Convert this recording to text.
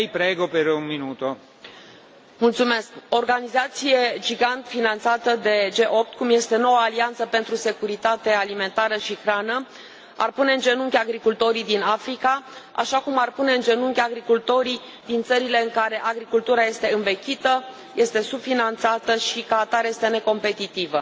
Domnule președinte, organizația gigant finanțată de G8, cum este Noua alianță pentru securitate alimentară și nutriție, ar pune în genunchi agricultorii din Africa, așa cum ar pune în genunchi agricultorii din țările în care agricultura este învechită, subfinanțată și, ca atare, necompetitivă.